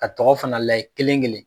Ka tɔgɔ fana layɛ kelen kelen.